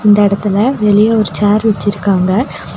இந்த எடத்துல வெளிய ஒரு சேர் வெச்சிருக்காங்க.